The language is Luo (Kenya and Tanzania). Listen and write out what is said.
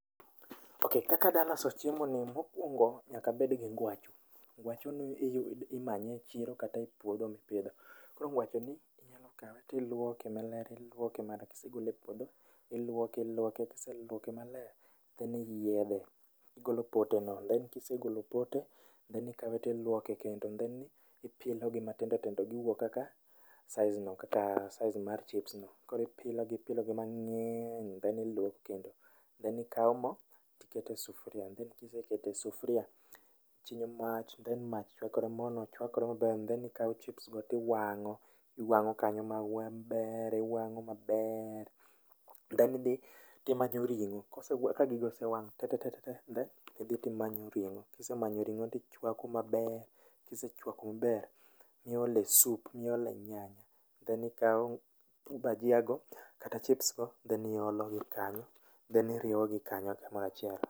sc[ok]sc okaka adwa loso chiemoni, nyaka abed gi ngwacho, ngwacho ni imanye echiro kata e puodho mi pidho. Koro ngwachni inyalo kawe to ilwoke maler, kisegole e puodho, iluoke, iluoke kieselwoke then iyiedhe, igolo pote no then kisegolo pote then ikawe to iluoke kendo. sc[Then[sc] ipilo gi matindo tindo guwuok kaka [sc]size[sc] mar chipsno koro ipilo gi ipilo gi mange'ny. then luok then ikao mo ikete sufuria, then kiseketo e sufuria then ichinyo mach tyhen kamo osechewakore maber ikao chipsgo to iwang'o mabeeer, maber. then ka gigo osewang' tetete, to imanyo ring'o, kisemanyo ringo to ichwako maber, kise chwako maber miole sup gi nyanya then ikawo bajia go, chipsgo to iole iye kanyo.